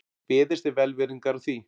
Beðist er velvirðingar á því